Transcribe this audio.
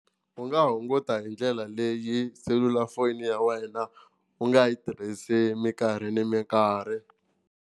U nga hunguta hi ndlela leyi selulafoni ya wena u nga yi tirhisi minkarhi na minkarhi.